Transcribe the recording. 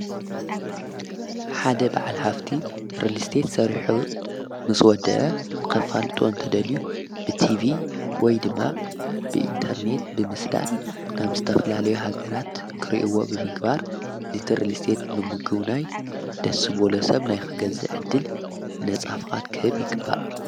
ሓደ ብዓል ሃፍቲ ርልስተት ሠሪሑ ምስ ወድአ ተፋልጡ እንተደልዩ ብቲፊ ወይ ድማ ብኢንተርኔት ብምስዳድ ናብ ዝተፍላለዮ ሃገራት ክርእይዎ ብምግባር ሊቲ ርልስተት ብምግቡናይ ደሱ ቦሎ ሰብ ናይ ክገዘዕድል ነጻፍቓት ክህብ ይግባእ።